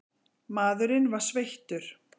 Maðurinn var sveittur.